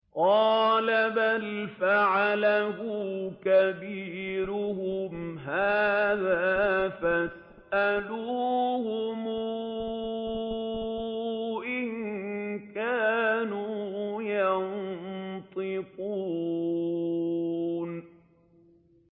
قَالَ بَلْ فَعَلَهُ كَبِيرُهُمْ هَٰذَا فَاسْأَلُوهُمْ إِن كَانُوا يَنطِقُونَ